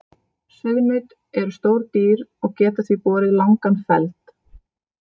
Sauðnaut eru stór dýr og geta því borið langan feld.